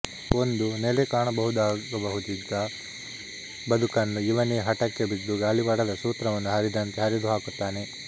ಒಂದು ನೆಲೆ ಕಾಣಬಹುದಾಗಬಹುದಿತ್ತ ಬದುಕನ್ನು ಇವನೇ ಹಟಕ್ಕೆ ಬಿದ್ದು ಗಾಳಿಪಟದ ಸೂತ್ರವನ್ನು ಹರಿದಂತೆ ಹರಿದು ಹಾಕುತ್ತಾನೆ